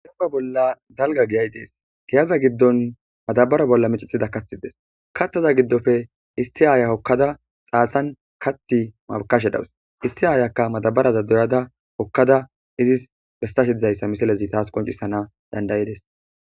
Dennibba bolla daligga giyayi de'ees.giyazza giddonni madabara bolla micetida kaththi Desi .kaththaza giddoppe issi ayaa hokkada xasanni kaththi makashshe dawus.issi ayakka madabarazza doyadda hokkada izzis besashshe de'awus.